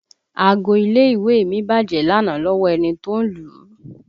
Aago ilé ìwé mi bájẹ̀ lánàá lọ́wọ́ ẹni tó ń lù ú